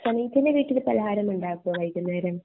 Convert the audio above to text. വീട്ടിൽ പലഹാരം ഉണ്ടക്കോ വൈകുന്നേരം